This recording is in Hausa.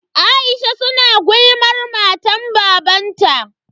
Aisha su na gulmar matan babanta.